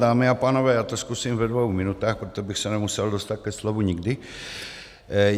Dámy a pánové, já to zkusím ve dvou minutách, protože bych se nemusel dostat ke slovu nikdy.